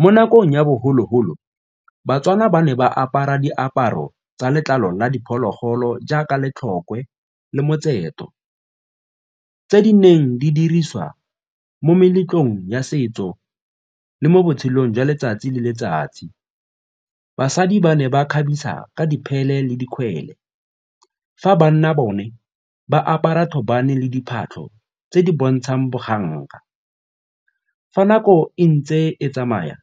Mo nakong ya bogologolo, baTswana ba ne ba apara diaparo tsa letlalo la diphologolo jaaka tse di neng di dirisiwa mo meletlong ya setso le mo botshelong jwa letsatsi le letsatsi. Basadi ba ne ba kgabisa ka diphele le dikgwele fa banna bone ba apara thobane le diphatlho tse di bontshang boganka. Fa nako e ntse e tsamaya,